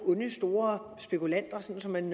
onde store spekulanter sådan som man